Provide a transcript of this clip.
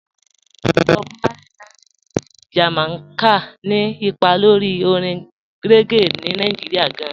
Bọ̀b Márlẹ̀yì, láti Ilú Jamaica, ni ìpà lórí òrìṅ reggae ní Nàìjíríà gàn.